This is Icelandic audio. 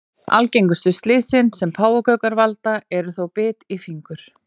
Algengustu slysin sem páfagaukar valda eru þó bit í fingur.